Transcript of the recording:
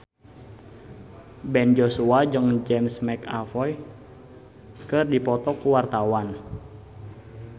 Ben Joshua jeung James McAvoy keur dipoto ku wartawan